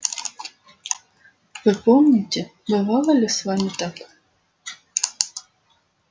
вы помните бывало ли с вами так